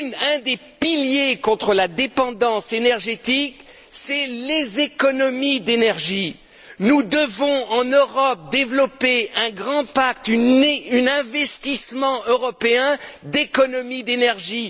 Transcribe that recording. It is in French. Un des piliers de la lutte contre la dépendance énergétique, ce sont les économies d'énergie. Nous devons, en Europe, développer un grand pacte, un investissement européen d'économies d'énergie.